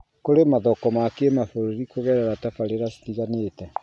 kũrĩ mathoko ma kĩmabũrũri kũgererera tabarĩra citiganĩte